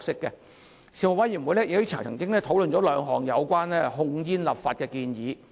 事務委員會曾討論兩項有關控煙的立法建議。